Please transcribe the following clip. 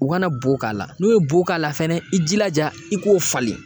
U kana bo k'a la n'u ye bo k'a la fɛnɛ i jilaja i k'o falen